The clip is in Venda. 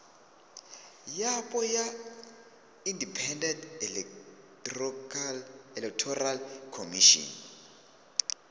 yapo ya independent electoral commission